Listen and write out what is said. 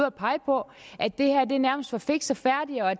at pege på at det her nærmest var fikst og færdigt og